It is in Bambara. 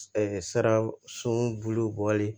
sara sobulu bɔli